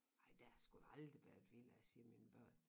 Ej der har sgu da aldrig været villaer siger mine børn